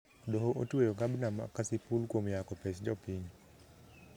Doho otueyo gabna ma kasipul kuom yako pes jopiny